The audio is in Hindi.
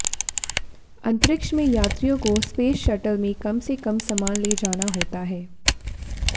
अंतरिक्ष में यात्रियों को स्पेस शटल में कम से कम सामान ले जाना हाेता है